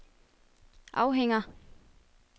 afhænger